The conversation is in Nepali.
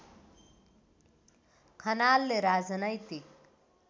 खनालले राजनैतिक